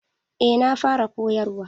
Eh ya fara koyarwa.